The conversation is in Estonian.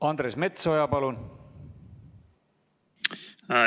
Andres Metsoja, palun!